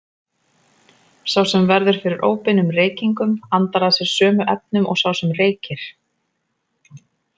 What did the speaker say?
Sá sem verður fyrir óbeinum reykingum andar að sér sömu efnum og sá sem reykir.